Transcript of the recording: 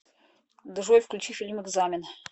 джой включи фильм экзамен